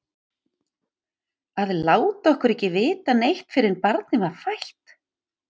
Að láta okkur ekki vita neitt fyrr en barnið var fætt!